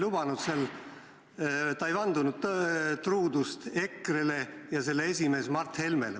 Ta ei vandunud truudust EKRE-le ja selle esimehele Mart Helmele.